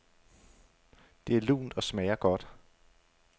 Det er lunt og smager godt.